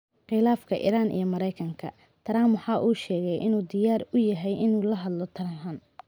Khilaafka Iran iyo Maraykanka: Trump waxa uu sheegay in uu diyaar u yahay in uu la hadlo Tehran